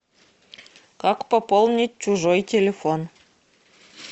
как пополнить чужой телефон